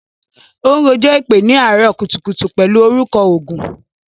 Óun rọ̀jò èpè ni àárọ̀ kùtùkùtù pẹlu orúkọ ọgún.